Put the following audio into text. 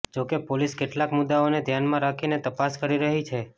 જો કે પોલીસ કેટલાક મુદ્દાઓને ઘ્યાનમાં રાખીને તપાસ કરી રહી છે